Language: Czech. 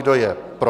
Kdo je pro?